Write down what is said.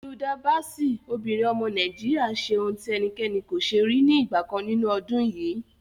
Hilda Baci, obìnrin ọmọ Nàìjíríà ṣe ohun tí ẹnikẹ́ni kò ṣe rí ní ìgbà kan nínú ọdún yìí.